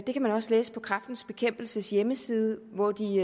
det kan man også læse på kræftens bekæmpelses hjemmeside hvor de